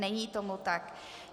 Není tomu tak.